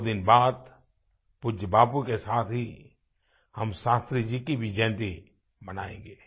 दो दिन बाद पूज्य बापू के साथ ही हम शास्त्री जी की भी जयंती मनायेंगे